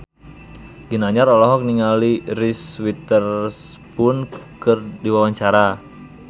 Ginanjar olohok ningali Reese Witherspoon keur diwawancara